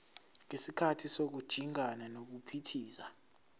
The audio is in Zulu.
ngesikhathi sokujingana nokuphithiza